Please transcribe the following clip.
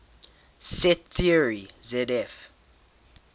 set theory zf